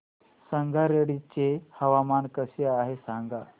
संगारेड्डी चे हवामान कसे आहे सांगा